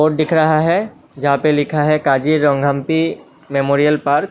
और दिख रहा है जहां पे लिखा है काजीर रोंघनंगपी मेमोरियल पार्क ।